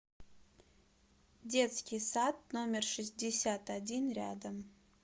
детский сад номер шестьдесят один рядом